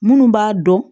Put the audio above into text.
Minnu b'a dɔn